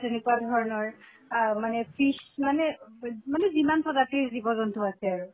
তেনেকুৱা ধৰণৰ আহ মানে fish মানে যিমান প্ৰজাতিৰ জীৱ জন্তু আছে আৰু।